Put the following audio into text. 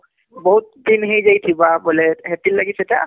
ବହୁତ ଦିନ ହେଇଯାଇଥିବ ବୋଲେ ହେଥିଲାଗି ସେଟା